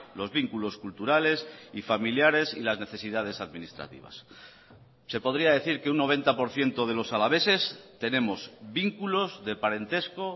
los vínculos culturales y familiares y las necesidades administrativas se podría decir que un noventa por ciento de los alaveses tenemos vínculos de parentesco